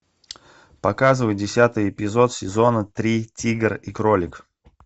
показывай десятый эпизод сезона три тигр и кролик